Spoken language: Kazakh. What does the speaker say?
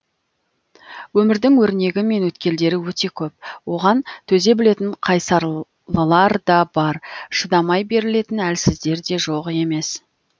өмірдің өрнегі мен өткелдері өте көп оған төзе білетін қайсарлылар да бар шыдамай берілетін әлсіздер де жоқ емес